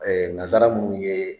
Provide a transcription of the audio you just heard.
nazara munnu ye